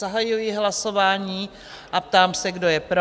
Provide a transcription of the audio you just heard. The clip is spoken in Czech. Zahajuji hlasování a ptám se, kdo je pro?